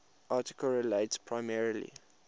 article relates primarily